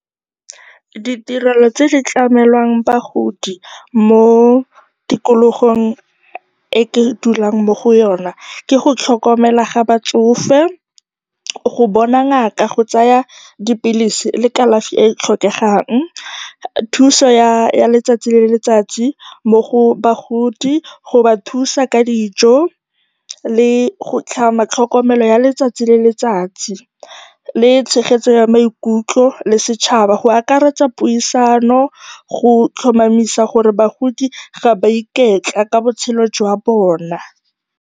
Ditirelo tse di tlamelang bagodi mo tikologong e ke dulang mo go yona ke go tlhokomelwa ga batsofe, go bona ngaka, go tsaya dipilisi le kalafi e e tlhokegang, thuso ya letsatsi le letsatsi mo bagoding, go ba thusa ka dijo le go tlhama tlhokomelo ya letsatsi le letsatsi, le tshegetso ya maikutlo le setšhaba go akaretsa puisano go tlhomamisa gore bagodi ga ba a iketla ka botshelo jwa bona.